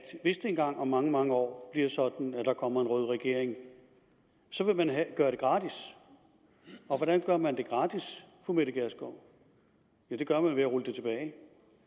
hvis det engang om mange mange år bliver sådan at der kommer en rød regering så vil man gøre det gratis og hvordan gør man det gratis ja det gør man ved at rulle det tilbage